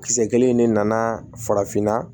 Kisɛ kelen ne nana farafinna